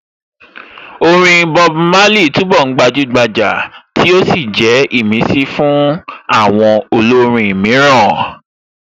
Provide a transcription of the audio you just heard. Orin Bob Marley túnbọ̀ gbajúgbajà tí ó sì jẹ́ ìmísí fún àwọn olórin mìíràn